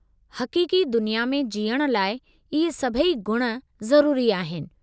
हक़ीक़ी दुनिया में जिअण लाइ इहे सभई ॻुण ज़रूरी आहिनि।